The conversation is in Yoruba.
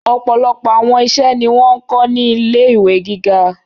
Ọ̀pọ̀lọpọ̀ àwọn iṣẹ́ ni wọn n kọ ni ilé ìwé gíga.